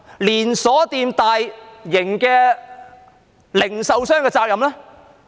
連鎖店和大型零售商的責任呢？